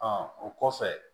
o kɔfɛ